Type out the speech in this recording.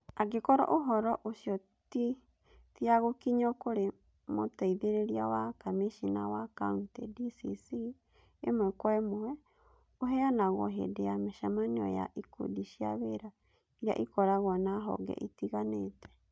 Angĩkorũo ũhoro ũcio ti ya gũkinyio kũrĩ Mũteithĩrĩria wa Kamishna wa Kaunti (DCC) ĩmwe kwa ĩmwe, ũheanagwo hĩndĩ ya mĩcemanio ya ikundi cia wĩra iria ikoragwo na honge itiganĩte.